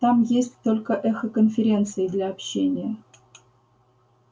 там есть только эхоконференции для общения